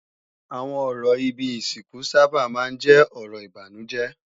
Àwọn ọ̀rọ̀ ibi ìsìnkú sábà máa ń jẹ́ ọ̀rọ̀ ìbànújẹ́